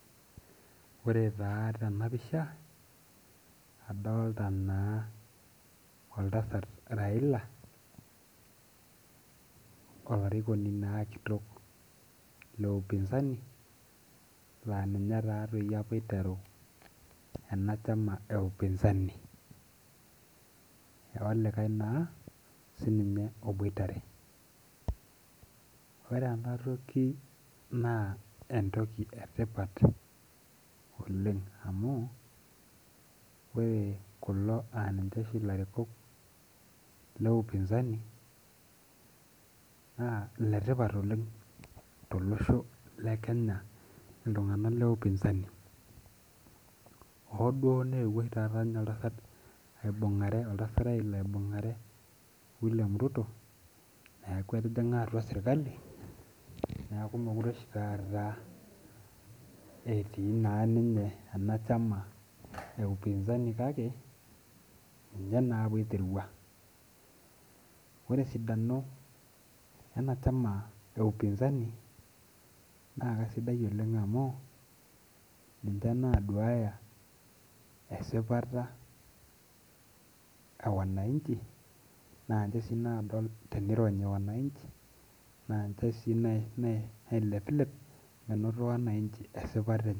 Ore taa tena pisha adolta naa oltasat Raila olarikoni naa kitok le upinzani laa ninye taa toi apa oiteru ena chama e upinzani olikae naa ninye oboitare ore ena toki naa entoki etipat oleng amu ore kulo aninche oshi ilarikok le upinzani naa ile tipat oleng tolosho le kenya iltung'anak le upinzani hoo dio neuo oshi taata ninye oltasat aibung'ae oltasat Raila aibung'are William ruto eaku etijing'a atua sirkali niaku mekure oshi taata etii naa ninye ena chama e upinzani kake ninye naa apa oiterua ore esidano ena chama[cs e upinzani naa kasidai oleng amu ninche naduaya esipata e wananchi naa inche sii nadol naanche sii naadol tenironyi wananchi naanche sii nae nailepilep menoto wananchi esipata enye.